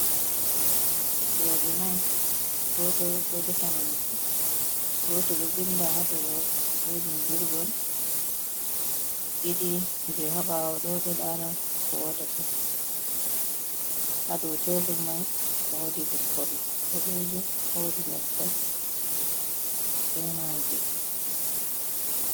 Robe nai. Goto ɗo ɗefa nyamdlɗu. Goto ɗo vinɗa ha ɗerewol be bindirgol ɗiɗi je ha bawo ɗo ɗo lara ko woɗata. haɗo tebur mai woɗi leppolle boɗejum. Woɗi nyebba be magi.